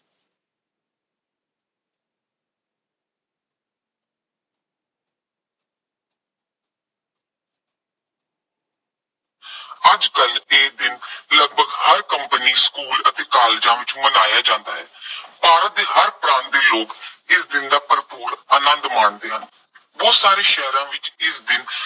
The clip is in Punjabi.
ਅੱਜ ਕੱਲ੍ਹ ਇਹ ਦਿਨ ਲਗਭਗ ਹਰ ਕੰਪਨੀ, ਸਕੂਲ ਅਤੇ ਕਾਲਜਾਂ ਵਿੱਚ ਮਨਾਇਆਂ ਜਾਂਦਾ ਹੈ। ਭਾਰਤ ਦੇ ਹਰ ਪ੍ਰਾਂਤ ਦੇ ਲੋਕ ਇਸ ਦਿਨ ਦਾ ਭਰਪੂਰ ਆਨੰਦ ਮਾਣਦੇ ਹਨ। ਬਹੁਤ ਸਾਰੇ ਸ਼ਹਿਰਾਂ ਵਿੱਚ ਇਸ ਦਿਨ